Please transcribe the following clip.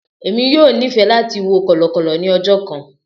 Emi yoo nifẹ lati wo kọlọkọlọ ni ọjọ kan.